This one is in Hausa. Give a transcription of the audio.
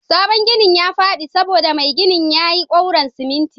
sabon ginin yafadi saboda Mai ginin yayi kouron siminti